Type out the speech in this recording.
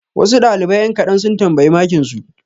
Wasu ɗalibai ƴan kaɗan sun tambayi makinsu.